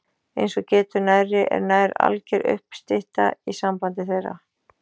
Eins og getur nærri er nær alger uppstytta í sambandi þeirra